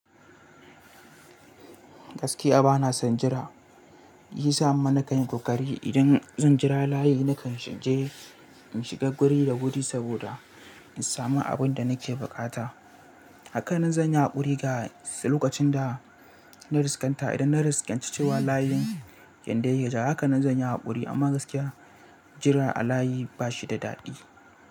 Gaskiya ba na son jira, yi sa ma kanyi kokari idan zan jira layi nakan shige in shiga guri da wuri saboda in samu abin da nake buƙata. Haka na zanya haƙuri ga lokacin da na riska ta idan na riske cewa layin ken ge ya gaji haka na zanya haƙuri amma gaskiya jira a layi ba shi da daɗi.